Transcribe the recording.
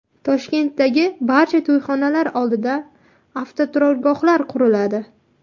Toshkentdagi barcha to‘yxonalar oldida avtoturargohlar quriladi.